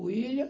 O Willam.